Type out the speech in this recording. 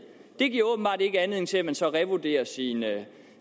det giver åbenbart ikke anledning til at man så revurderer sine